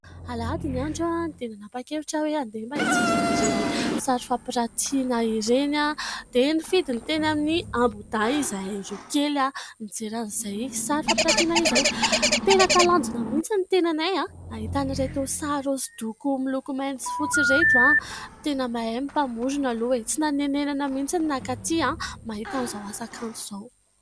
Alahady ny andro dia nanapa-kevitra aho hoe handeha hijery an'ireny sary fampirantiana ireny dia nifidy ny teny Ambohidahy izahay roakely nijery an'izay sary fampirantiana izay. Tena talanjona mihitsy ny tenanay nahita ireto sary hosodoko miloko mainty sy fotsy ireto ; tena mahay ny mpamorona aloha e ! Tsy nanenenana mihitsy nankaty mahita an'izao asa kanto izao.